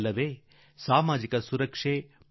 ಇದೇ ಸಾಮಾಜಿಕ ಭದ್ರತೆ